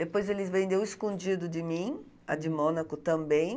Depois ele vendeu escondido de mim, a de Mônaco também.